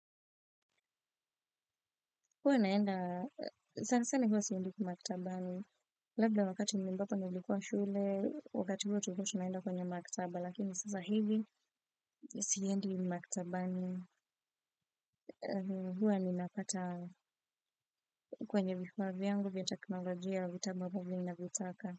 Huwa naenda, sana sana hua siendi maktabani. Labda wakati ambapo nilikuwa shule, wakati huo tulikuwa tunaenda kwenye maktaba. Lakini sasa hivi mimi siendi maktabani. Huwa ninapata kwenye vifaa vyangu vya kiteknolojia vitabu ninavyotaka.